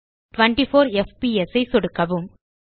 24 FPS ஐ சொடுக்கவும்